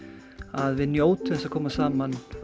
að við njótum þess að koma saman